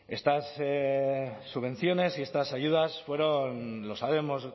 estas subvenciones y estas ayudas fueron lo sabemos